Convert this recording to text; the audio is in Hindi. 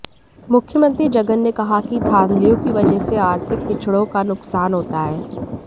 मुख्यमंत्री जगन ने कहा कि धांधलियों की वजह से आर्थिक पिछडों का नुकसान होता है